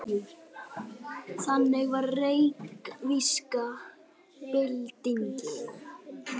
Þannig var reykvíska byltingin.